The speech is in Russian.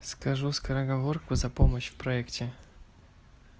скажу скороговорку за помощь в проекте